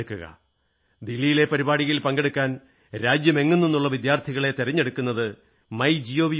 ദില്ലിയിലെ പരിപാടിയിൽ പങ്കെടുക്കാൻ രാജ്യമെങ്ങും നിന്നുള്ള വിദ്യാർഥികളെ തിരഞ്ഞെടുക്കുന്നത് മൈ ജിഒവി വഴിയാണ്